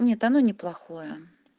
не оно неплохое